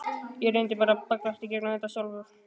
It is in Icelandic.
Ég reyni bara að bögglast í gegnum þetta sjálfur.